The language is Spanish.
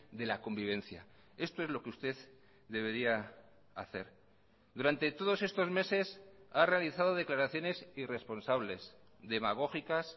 de la convivencia esto es lo que usted debería hacer durante todos estos meses ha realizado declaraciones irresponsables demagógicas